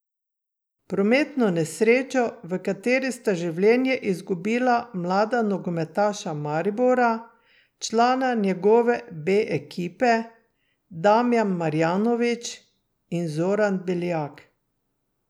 Prometno nesrečo, v kateri sta življenji izgubila mlada nogometaša Maribora, člana njegove B ekipe, Damjan Marjanović in Zoran Beljak.